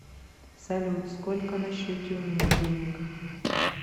салют сколько на счете у меня денег